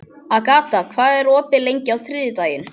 Agata, hvað er opið lengi á þriðjudaginn?